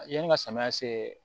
Yanni ka samiya se